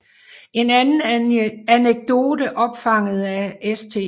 En anden anekdote opfanget af St